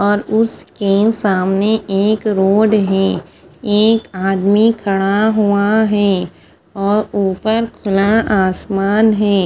और उसके सामने एक रोड है और एक आदमी खड़ा हुआ है और उपर खुला आसमान है।